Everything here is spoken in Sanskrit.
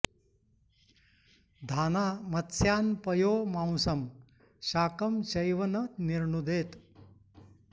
धाना मत्स्यान् पयो मांसं शाकं चैव न निर्णुदेत्